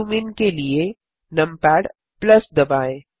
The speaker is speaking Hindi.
जूम इन के लिए नमपैड दबाएँ